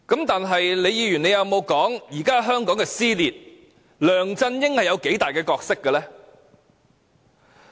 但李議員有沒有說，導致現時香港撕裂，梁振英有多大的角色呢？